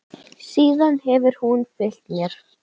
Síðan hefur hún fylgt mér.